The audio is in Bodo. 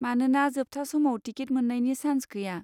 मानोना जोबथा समाव टिकेट मोन्नायनि सान्स गैया।